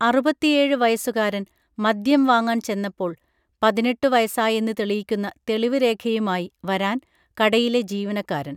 അറുപത്തിയേഴ് വയസുകാരൻ മദ്യം വാങ്ങാൻ ചെന്നപ്പോൾ പതിനെട്ടു വയസായെന്ന് തെളിയിക്കുന്ന തെളിവുരേഖയുമായി വരാൻ കടയിലെ ജീവനക്കാരൻ